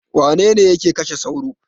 Wane ne yake kashe sauro?